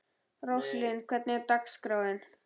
Róslind, hvernig er dagskráin?